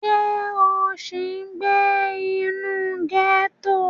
Ǹjẹ́ o sì ń gbé inú gẹ́tò?